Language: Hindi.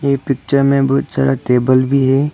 इस पिक्चर में बहुत सारा टेबल भी है।